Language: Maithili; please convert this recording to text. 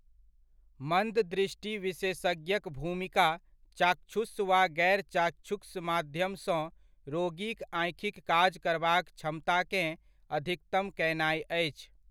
मन्द दृष्टि विशेषज्ञक भूमिका चाक्षुष वा गैर चाक्षुष माध्यमसँ रोगीक आँखिक काज करबाक क्षमताकेँ अधिकतम कयनाय अछि।